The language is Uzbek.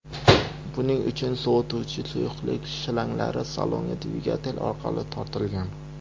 Buning uchun sovituvchi suyuqlik shlanglari salonga dvigatel orqali tortilgan.